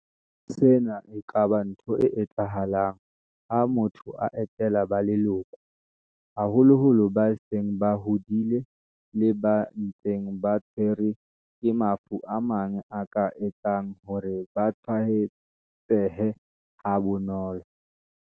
Sena e ka ba ntho e etsahalang ha motho a etela ba leloko, haholoholo ba seng ba hodile le ba ntseng ba tshwerwe ke mafu a mang a ka etsang hore ba tshwae tsehe ha bonolo.